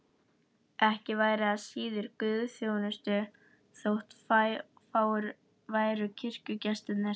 Ekki væri það síður guðsþjónusta þótt fáir væru kirkjugestirnir.